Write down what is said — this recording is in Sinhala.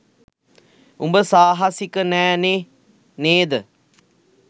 උඹ සාහසික නෑ නේ නේද?